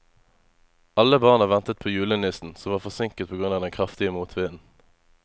Alle barna ventet på julenissen, som var forsinket på grunn av den kraftige motvinden.